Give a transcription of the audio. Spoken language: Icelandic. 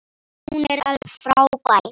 Hún er alveg frábær.